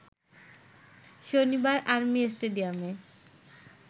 শনিবার আর্মি স্টেডিয়ামে